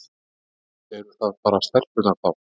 Eru það bara stelpurnar þá?